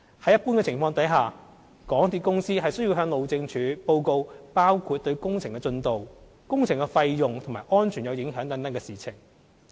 在一般情況下，港鐵公司須向路政署報告包括對工程進度、工程費用及安全有影響等的事情。